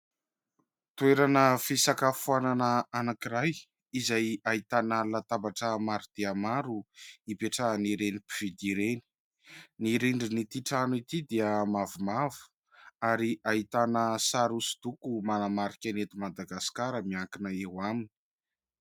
Toerana fisakafoanana anankiray izay ahitana latabatra maro dia maro hipetrahany ireny mpividy ireny. Ny rindrinan'ity trano ity dia mavomavo ary ahitana sary hosodoko manamarika ny eto Madagasikara miankina eo aminy.